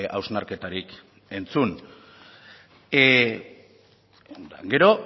hausnarketarik entzun gero